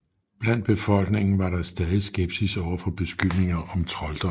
Blandt befolkningen var der stadig skepsis over for beskyldninger om trolddom